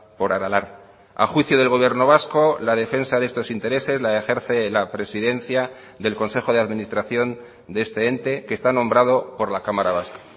por aralar a juicio del gobierno vasco la defensa de estos intereses la ejerce la presidencia del consejo de administración de este ente que está nombrado por la cámara vasca